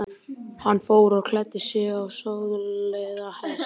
Hann fór og klæddi sig og söðlaði hest.